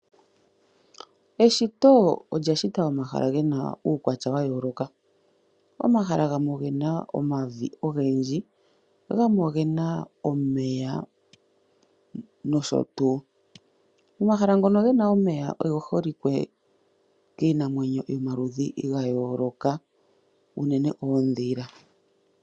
Eshito olya shitilwa omahala gayooloka gamwe ogena omavi ogendji, gamwe ogena omeya. Omahala ngoka gena omeya oge holike kiinamwenyo yayooloka, unene uudhila.